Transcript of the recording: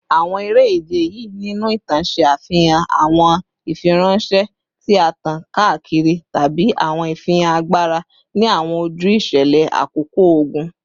Awọn ere-ije yii ninu itan ṣe afihan awọn ifiranšẹ ti a tan kaakiri tabi awọn ifihan agbara ni awọn oju iṣẹlẹ akoko ogun